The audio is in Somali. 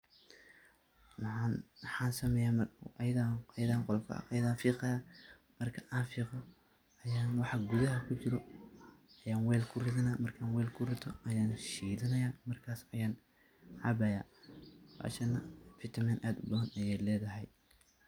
Maxan sameyeh ayada ayan fiqayah marka an fiqo ayan waxa gudaha kujiro ayan wel kuridanah markan mel kurito ayan, shidhanayah ayan cabayah vitamin ad ubadan ayay ledhahy.